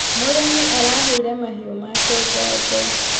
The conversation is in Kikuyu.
Mũrĩmi araheire mahiũ make janjo.